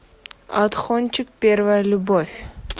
отхончик первая любовь